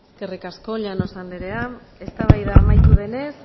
eskerrik asko llanos anderea eztabaida amaitu denez